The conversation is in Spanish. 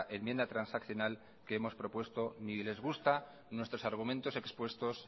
enmienda transaccional que hemos propuesto ni les gusta nuestros argumentos expuestos